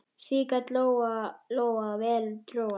Því gat Lóa-Lóa vel trúað.